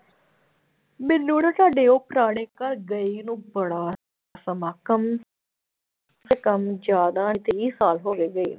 ਮੈਨੂੰ ਨਾ ਸਾਡੇ ਉਹ ਪੁਰਾਣੇ ਘਰ ਗਈ ਨੂੰ ਬੜਾ ਸਮਾਂ ਕਮ ਸੇ ਕਮ ਜ਼ਿਆਦਾ ਵੀਹ ਸਾਲ ਹੋ ਗਏ ਗਈ ਨੂੰ।